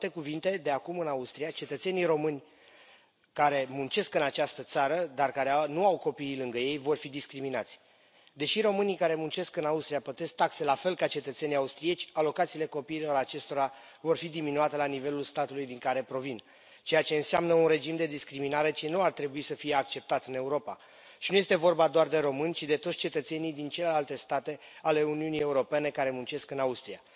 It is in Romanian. Cu alte cuvinte, de acum, în Austria, cetățenii români care muncesc în această țară, dar care nu au copiii lângă ei, vor fi discriminați. Deși românii care muncesc în Austria plătesc taxe la fel ca cetățenii austrieci, alocațiile copiilor acestora vor fi diminuate la nivelul statului din care provin, ceea ce înseamnă un regim de discriminare ce nu ar trebui să fie acceptat în Europa și nu este vorba doar de români, ci de toți cetățenii din celelalte state ale Uniunii Europene care muncesc în Austria.